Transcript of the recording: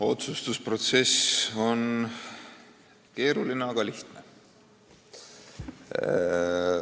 Otsustusprotsess on keeruline, aga samas ka lihtne.